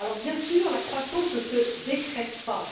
Bien sûr, la croissance ne se décrète pas